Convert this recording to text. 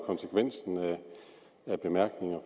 konsekvensen af bemærkningerne